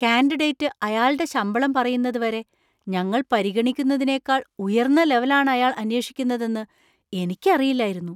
Candidate അയാള്‍ടെ ശമ്പളം പറയുന്നത് വരെ ഞങ്ങൾ പരിഗണിക്കുന്നതിനേക്കാൾ ഉയർന്ന ലെവൽ ആണ് അയാൾ അന്വേഷിക്കുന്നതെന്ന് എനിക്ക് അറിയില്ലായിരുന്നു.